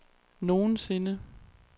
nogensinde